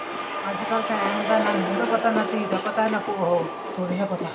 ਅੱਜਕਲ ਤਾਂ ਇਹ ਹੁੰਦਾ ਨਾ ਨੂੰਹ ਦਾ ਪਤਾ ਨਾ ਧੀ ਦਾ ਪਤਾ ਨਾ ਉਹ ਸਹੁਰੇ ਦਾ ਪਤਾ